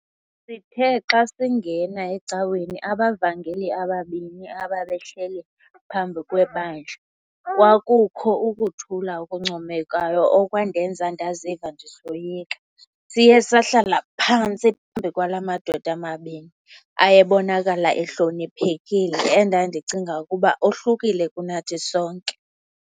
'Sithe xa singena ecaweni, abavangeli ababini ababehleli phambi kwebandla, kwakukho ukuthula okuncomekayo okwandenza ndaziva ndisoyika. Siye sahlala phantsi phambi kwalamadoda mabini ayebonakala ehloniphekile, endandicinga ukuba ohlukile kunathi sonke.